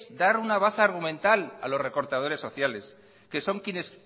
dar una baza argumental a los recortadores sociales que son quienes